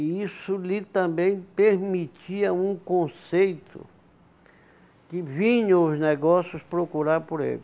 E isso lhe também permitia um conceito, que vinham os negócios procurar por ele.